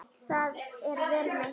Það er vel meint.